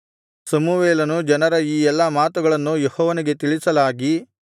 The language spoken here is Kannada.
ಸಮುವೇಲನು ಜನರ ಈ ಎಲ್ಲಾ ಮಾತುಗಳನ್ನು ಯೆಹೋವನಿಗೆ ತಿಳಿಸಲಾಗಿ